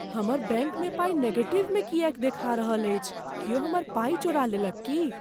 हमर बैंकमे पाइ नेगेटिवमे किएक देखा रहल अछि? क्यौ हमर पाइ चोरा लेलक की?